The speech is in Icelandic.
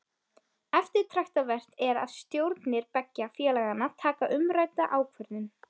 Eftirtektarvert er að stjórnir beggja félaganna taka umrædda ákvörðun.